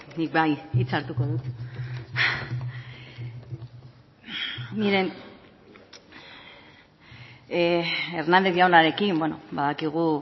nik bai hitza hartuko dut miren hernandez jaunarekin badakigu